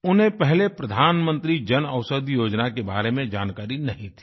उन्हें पहले प्रधानमंत्री जनऔषधि योजना के बारे में जानकारी नहीं थी